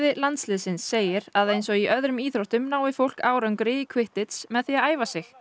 landsliðsins segir að eins og í öðrum íþróttum nái fólk árangri í með því að æfa sig